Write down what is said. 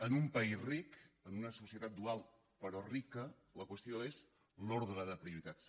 en un país ric en una societat dual però rica la qüestió és l’ordre de prioritats